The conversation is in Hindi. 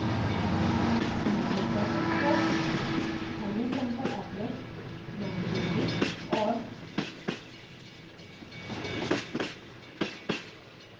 हम अपने project को hellosampleapplet name देंगे और